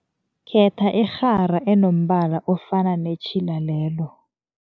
Khetha irhara enombala ofana netjhila lelo.